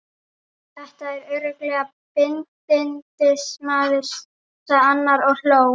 Þetta er örugglega bindindismaður, sagði annar og hló.